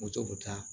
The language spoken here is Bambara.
Moto ta